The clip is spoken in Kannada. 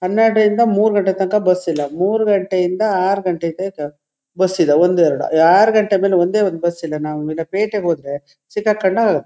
ಹನ್ನೆರಡ ರಿಂದ ಮೂರ್ ಗಂಟೆ ತನಕ ಬಸ್ ಇಲ್ಲಾ ಮೂರ್ ಗಂಟೆಯಿಂದ ಆರ್ ಗಂಟೆ ತನಕ ಬಸ್ ಇದೆ ಒಂದು ಎರಡು ಆರ್ ಗಂಟೆ ಮೇಲೆ ಒಂದೇ ಒಂದು ಬಸ್ ಇಲ್ಲಾ ನಾವು ನೆನ್ನೆ ಪೇಟೆಗೆ ಹೋದ್ರೆ ಸಿಕ್ಕಹಾಕೊಂಡ--